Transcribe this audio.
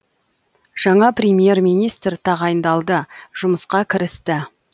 жаңа премьер министр тағайындалды жұмысқа кірісті